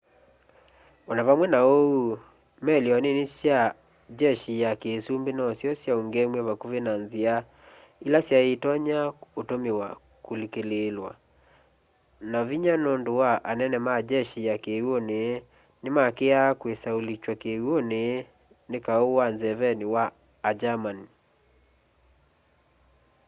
o na vamwe na uu meli o nini sya jeshi ya kiusumbi nosyo syaungeemw'e vakuvi na nzia ila syai itonya utumiwa kulikililwa na vinya nundu anene ma jeshi ya kiw'uni ni maakiaa kwisa ulikywa kiw'uni ni kau wa nzeveni wa a german